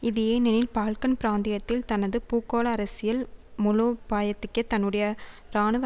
இது ஏனெனில் பால்க்கன் பிராந்தியத்தில் தனது பூகோளஅரசியல் மூலோபாயத்திக்கே தன்னுடைய இராணுவ